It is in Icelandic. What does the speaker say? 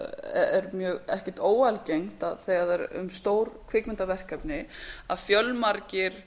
er ekkert óalgengt að þegar er um að ræða stór kvikmyndaverkefni að fjölmargir